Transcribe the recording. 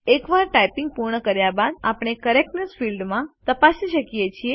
એકવાર ટાઇપિંગ પૂર્ણ કર્યા બાદ આપણે કરેક્ટનેસ ફિલ્ડ તપાસી શકીએ છીએ